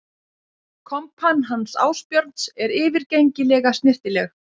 Kompan hans Ásbjörns er yfirgengilega snyrtileg